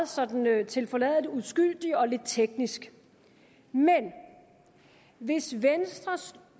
sådan meget tilforladeligt og uskyldigt og lidt teknisk men hvis venstres